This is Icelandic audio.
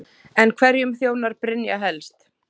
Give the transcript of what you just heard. En hverjum þjónar Brynja helst?